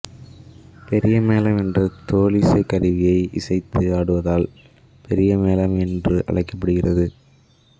பெரியமேளம் என்ற தோலிசைக் கருவியை இசைத்து ஆடுவதால் பெரிய மேளம் என்று அழைக்கப்படுகிறது